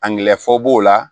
Angilɛ fɔ b'o la